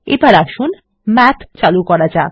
এবার আসুন মাথ খোলা যাক